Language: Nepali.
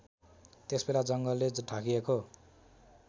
त्यसबेला जङ्गलले ढाकिएको